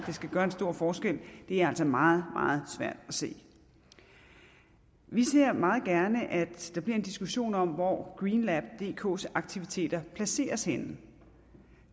det skal gøre en stor forskel er altså meget meget svært at se vi ser meget gerne at der bliver en diskussion om hvor green lab dk’s aktiviteter placeres henne